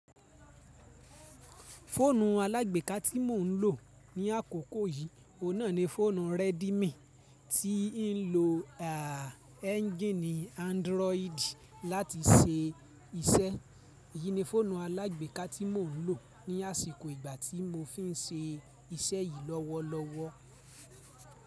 Fóònù alágbèéká tí mò ń lò ní àkókò yìí, òun náà ni fọ́ònù Redmi tí ń lo a, ẹ́ńjíìnì Android láti se iṣẹ́. Èyí ni fóònù alágbèéká tí mò ń lò ní àsìkò ìgbà tí mo fi ń se iṣẹ́ yìí lọ́wọ́lọ́wọ́.